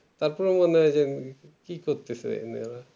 তারপরে বলুন কি করতেসেন